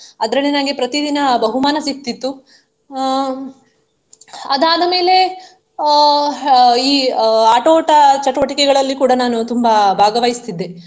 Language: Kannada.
ಅದ್ರಲ್ಲಿ ನನ್ಗೆ ಪ್ರತಿದಿನ ಬಹುಮಾನ ಸಿಕ್ತಿತ್ತು ಅಹ್ ಅದಾದ ಮೇಲೆ ಅಹ್ ಈ ಅಹ್ ಆಟೋಟ ಚಟುವಟಿಕೆಗಗಳಲ್ಲಿ ಕೂಡಾ ನಾನು ತುಂಬಾ ಭಾಗವಹಿಸುತ್ತಿದ್ದೆ.